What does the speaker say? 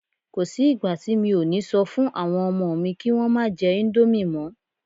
Kò sí ìgbà tí mi ò ní sọ fún àwọn ọmọ mi kí Wọ́n má jẹ íńdómì mọ́.